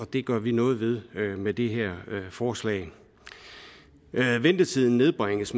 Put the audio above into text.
det gør vi noget ved med det her forslag ventetiden nedbringes